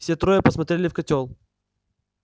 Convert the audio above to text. все трое посмотрели в котёл